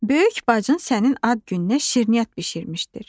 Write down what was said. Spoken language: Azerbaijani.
Böyük bacın sənin ad gününə şirniyyat bişirmişdir.